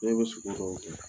E bɛ sogo dɔw dun ugukɔrɔ